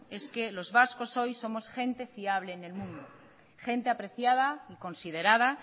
es que los vascos hoy somos gente fiable en el mundo gente apreciada y considerada